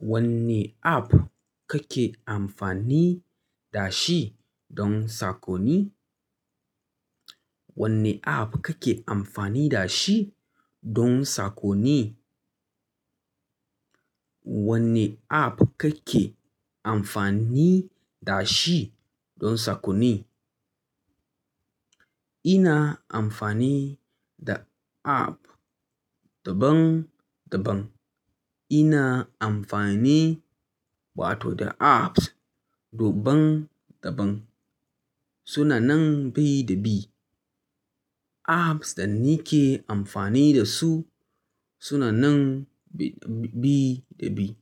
Wanne app kake amfani da shi don sakonni? Wanne app kake amfani da shi don sakonni? Wanne app kake amfani da shi don sakonni? Ina amfani da app daban daban. Ina amfani, wato da apps, daban daban. Sunanan bi da bi. Apps da nike amfani da su sunanan bi da bi.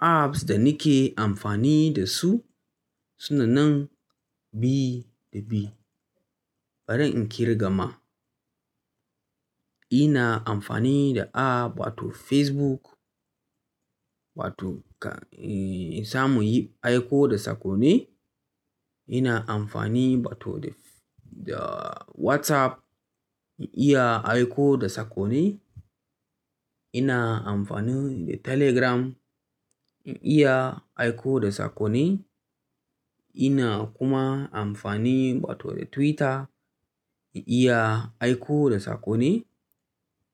Apps da nike amfani da su sunanan bi da bi. Bari in kirga ma. Ina amfani da app wato Facebook, wato ka, za mu yi aiko da sakonni. Ina amfani wato da, da WhatsApp in iya aiko da sakonni. Ina amfani da Telegram in iya aiko da sakonni. Ina kuma amfani bator da Twitter in iya aiko da sakonni.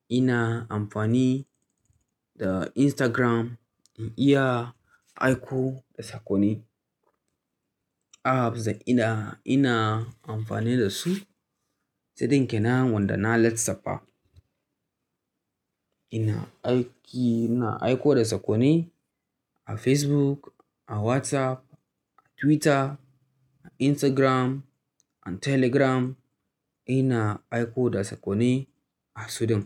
Ina amfani da Instagram in iya aiko da sakonni. Apps da ina, ina amfani da su sudin kenan wanda na lissafa. Ina aiki, ina aiko da sakonni a Facebook, a WhatsApp, a Twitter, a Instagram, a Telegram. Ina aiko da sakonni a suɗin.